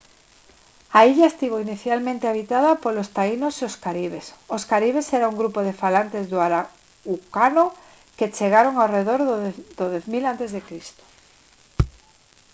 a illa estivo inicialmente habitada polos taínos e os caribes os caribes era un grupo de falantes do arahuacano que chegaron arredor do 10 000 a c